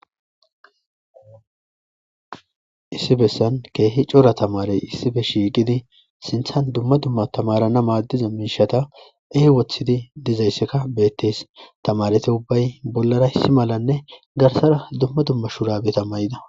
issi bessan keehi cora tamarey issibe shiiqidi sinthan dumma dumma tamarana maaddiza miishata ey wothidi dizaysekka beettees tamarete ubbay bollara issi malanne garsara dumma dumma shurabeta may7ida